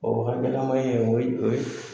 O hakɛlama ye o ye o ye